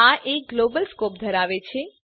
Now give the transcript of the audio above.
આ એક global scope ધરાવે છે